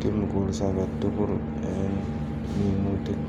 chemicals alak tugul en minutik.